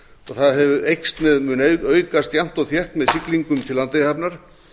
og það mun aukast jafnt og þétt með siglingum til landeyjahafnar